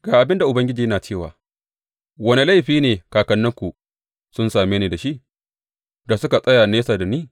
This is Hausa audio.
Ga abin da Ubangiji yana cewa, Wane laifi ne kakanninku sun same ni da shi, da suka tsaya nesa da ni?